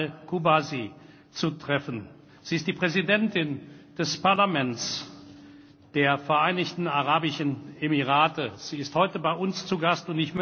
Amal al Kubaisi zu treffen. Sie ist die Präsidentin des Parlaments der Vereinigten Arabischen Emirate und ist heute bei uns zu Gast.